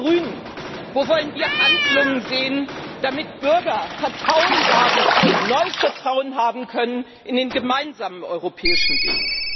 Wo wollen die Grünen, wo wollen wir Handlungen sehen, damit Bürger Vertrauen haben können neues Vertrauen haben können in den gemeinsamen europäischen Weg?